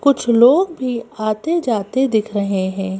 कुछ लोग भी आते जाते दिख रहे हैं।